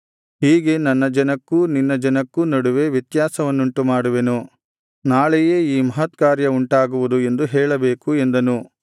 ಹೀಗೆ ನನ್ನ ಜನಕ್ಕೂ ನಿನ್ನ ಜನಕ್ಕೂ ನಡುವೆ ವ್ಯತ್ಯಾಸವನ್ನುಂಟು ಮಾಡುವೆನು ನಾಳೆಯೇ ಈ ಮಹತ್ಕಾರ್ಯ ಉಂಟಾಗುವುದು ಎಂದು ಹೇಳಬೇಕು ಎಂದನು